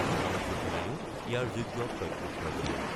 ভাৰতীয় সেনাইও ইয়াৰ যোগ্য প্ৰত্যুত্তৰ দিয়ে।